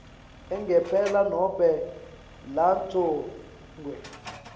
angempela nobe lagcotjwe